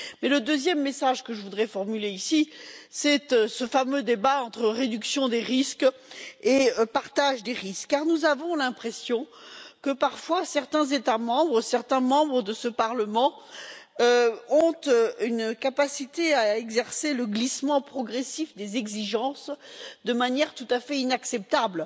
Le second message que je voudrais formuler ici a trait à ce fameux débat entre réduction des risques et partage des risques, car nous avons l'impression que, parfois, certains États membres, certains membres de ce Parlement, ont une capacité à exercer le glissement progressif des exigences de manière tout à fait inacceptable.